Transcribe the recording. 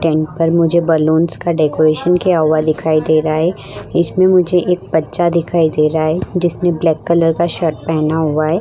Tent पर मुझे balloons का डेकोरेशन किया हुआ दिखाइ दे रहा है इसमें मुझे एक बच्चा दिखाई दे रहा है जिसने ब्लैक कलर का शर्ट पहना हुआ है ।